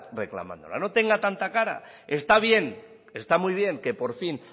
reclamándola no tenga tanta cara está bien está muy bien que por fin